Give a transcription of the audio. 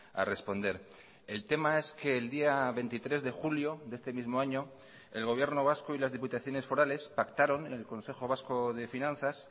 a responder el tema es que el día veintitrés de julio de este mismo año el gobierno vasco y las diputaciones forales pactaron en el consejo vasco de finanzas